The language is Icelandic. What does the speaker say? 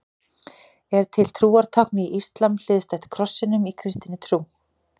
Er til trúartákn í íslam hliðstætt krossinum í kristinni trú?